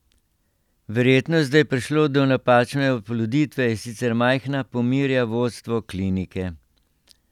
Verjetnost, da je prišlo do napačne oploditve, je sicer majhna, pomirja vodstvo klinike.